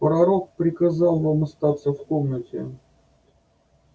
пророк приказал вам остаться в комнате